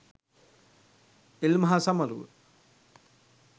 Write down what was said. ඉල්මහ සමරුව